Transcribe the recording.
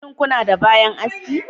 Shin kuna da bayan aski